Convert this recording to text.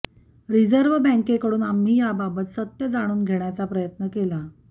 reserve बँकेकडून आम्ही याबाबत सत्य जाणून घेण्याचा प्रयत्न केला